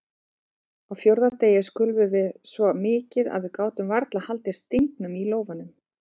Á fjórða degi skulfum við svo mikið að við gátum varla haldið stingnum í lófanum.